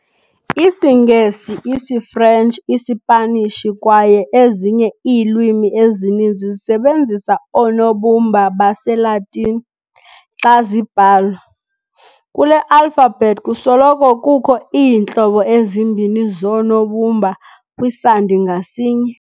IsiNgesi, isiFrentshi, iSipanishi kwaye ezinye iilwimi ezininzi zisebenzisa oonobumba baseLatini xa zibhalwa. kule alphabet kusoloko kukho iintlobo ezimbini zoonobumba kwisandi ngasinye.